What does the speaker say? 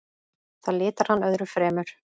Það litar hann öðru fremur.